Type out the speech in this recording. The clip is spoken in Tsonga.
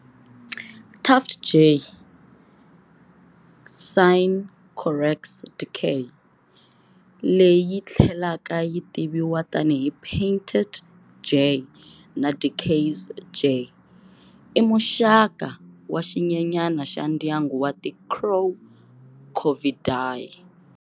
Tufted jay, Cyanocorax dickeyi, leyi tlhelaka yi tiviwa tani hi painted jay na Dickey's jay, i muxaka wa xinyenyana xa ndyangu wa ti crow Corvidae.